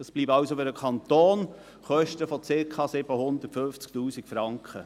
Es bleiben dem Kanton also Kosten von circa 750 000 Franken.